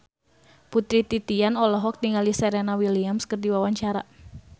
Putri Titian olohok ningali Serena Williams keur diwawancara